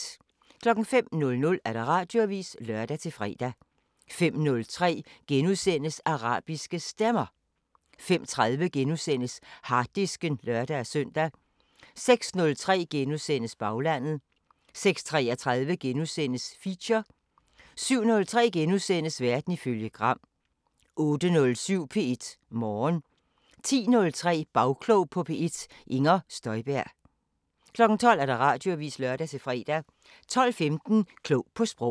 05:00: Radioavisen (lør-fre) 05:03: Arabiske Stemmer * 05:30: Harddisken *(lør-søn) 06:03: Baglandet * 06:33: Feature * 07:03: Verden ifølge Gram * 08:07: P1 Morgen 10:03: Bagklog på P1: Inger Støjberg 12:00: Radioavisen (lør-fre) 12:15: Klog på Sprog